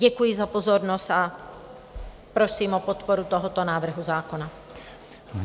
Děkuji za pozornost a prosím o podporu tohoto návrhu zákona.